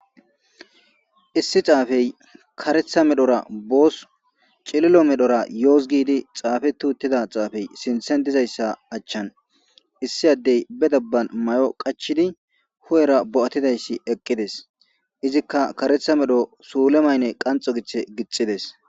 issi xaafey karetha medhora boos cililo medhora yooz gidi xaafe tuuttida xaafey sinthen dizayssa achchan issi addey be dabban may7o qachidi hu7era bo7atidayssi eqqides izikka karetha medho suule maynne qanxo giche gixides